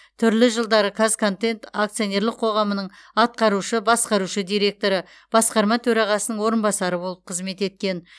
түрлі жылдары қазконтент акционерлік қоғамының атқарушы басқарушы директоры басқарма төрағасының орынбасары болып қызмет еткен